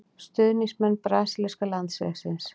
Stuðningsmenn brasilíska landsliðsins.